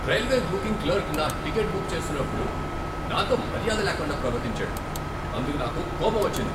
Railway booking clerk నా ticket book చేస్తున్నప్పుడు నాతో మర్యాద లేకుండా ప్రవర్తించాడు. అందుకు నాకు కోపం వచ్చింది.